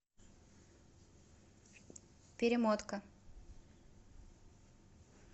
перемотка